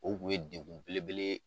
O kun ye dekun belebele ye